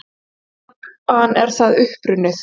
Hvaðan er það upprunnið?